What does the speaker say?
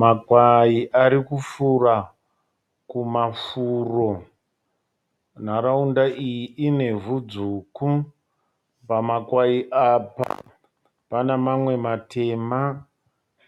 Makwai ari kufura kumafuro. Nharaunda iyi inevhu dzvuku. Pamakwai apa pane mamwe matema